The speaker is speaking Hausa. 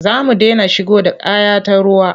Za mu dena shigo da kaya ta ruwa.